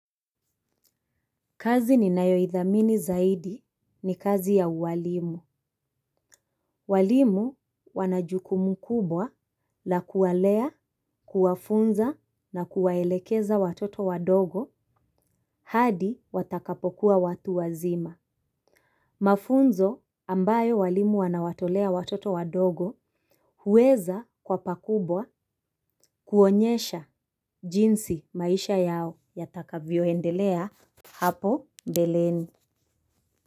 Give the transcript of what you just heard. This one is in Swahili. Kazi ninayoithamini zaidi ni kazi ya uwalimu. Walimu wanajukumu kubwa la kuwalea kuwafunza na kuwaelekeza watoto wadogo hadi watakapokuwa watu wazima. Mafunzo ambayo walimu wanawatolea watoto wadogo huweza kuwa pa kubwa kuonyesha jinsi maisha yao yatakavyoendelea hapo mbeleni.